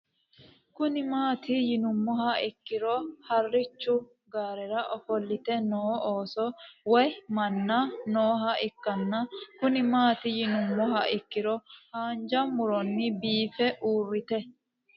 Kuni mati yinumoha ikiro harich gaarera ofolite noo ooso woyi manna nooha ikanna Kuni mati yinumoha ikiro hanja muroni biife urite